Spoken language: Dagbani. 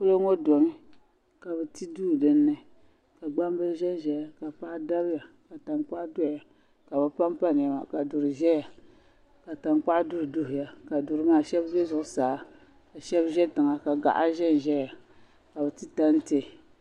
Polo ŋɔ domi ka bɛ ti duu din ni ka gbambili ʒenʒeya ka paɣa dabiya ka tankpaɣu doya ka bi pampa Nɛma ka duri ʒeya ka tankpaɣu duhiduhiya ka duri maa shɛbi be zuɣu saa ka shɛbi ʒe tiŋa gaha ʒeya ka bi ti tanti.